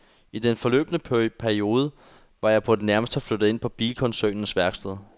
I den forløbne periode var jeg på det nærmeste flyttet ind på bilkoncernens værksted.